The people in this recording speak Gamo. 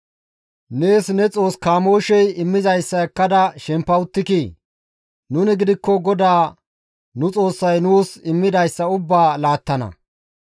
Nees ne xoos kamooshey immizayssa ekkada shempa uttikii? Nuni gidikko GODAA nu Xoossay nuus immidayssa ubbaa laattana.